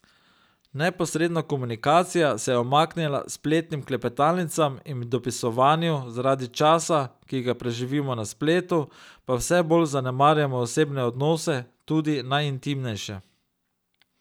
Neposredna komunikacija se je umaknila spletnim klepetalnicam in dopisovanju, zaradi časa, ki ga preživimo na spletu, pa vse bolj zanemarjamo osebne odnose, tudi najintimnejše.